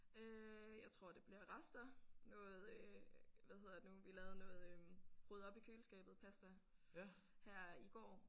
Øh jeg tror det bliver rester noget øh hvad hedder det nu vi lavede noget øh ryd op i køleskabet pasta her i går